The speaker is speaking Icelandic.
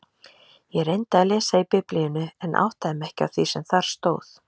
Ég reyndi að lesa í Biblíunni en áttaði mig ekki á því sem þar stóð.